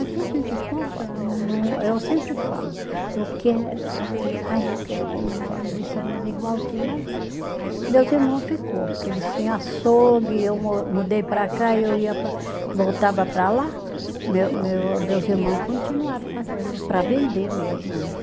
Aqui a gente compra no, eu sempre falo, eu quero, às vezes, ai eu quero comer uma linguiça, mas igual tinha, mas meus irmão ficou, porque eles tinham açougue, eu mo mudei para cá e eu ia pa, voltava para lá, meu meu meus irmão continuaram fazendo, para vender mesmo, né?